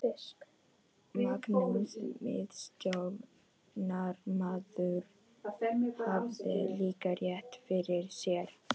Magnús miðstjórnarmaður hafði líka rétt fyrir sér.